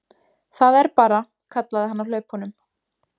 Það er bara, kallaði hann á hlaupunum.